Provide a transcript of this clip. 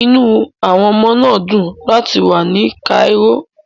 The children were happy to be in Cairo